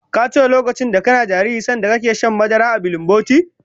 Ka tuna lokacin kana jariri sanda kake shan madara a bilinboti?